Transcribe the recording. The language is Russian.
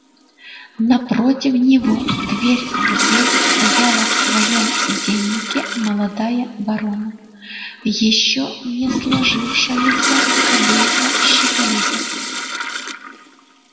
напротив него дверь в дверь стояла в своём деннике молодая вороная ещё не сложившаяся кобылка щеголиха